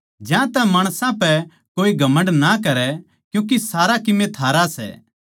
ज्यांतै माणसां पै कोए घमण्ड ना करै क्यूँके सारा कीमे थारा सै